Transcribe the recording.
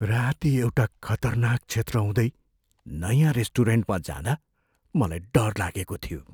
राती एउटा खतरनाक क्षेत्र हुँदै नयाँ रेस्टुरेन्टमा जाँदा मलाई डर लागेको थियो।